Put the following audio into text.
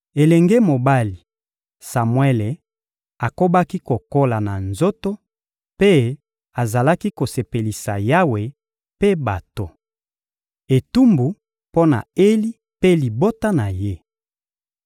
Elenge mobali Samuele akobaki kokola na nzoto, mpe azalaki kosepelisa Yawe mpe bato. Etumbu mpo na Eli mpe libota na ye